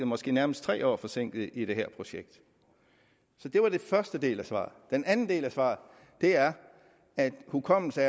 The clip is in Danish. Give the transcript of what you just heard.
måske nærmere tre år forsinket i det her projekt det var den første del af svaret den anden del af svaret er at hukommelse